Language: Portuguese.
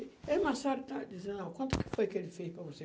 Ele, Marcelo, dizia, não, quanto foi que ele fez para você?